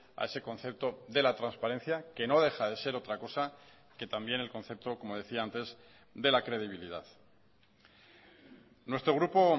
a ese concepto de la transparencia que no deja de ser otra cosa que también el concepto como decía antes de la credibilidad nuestro grupo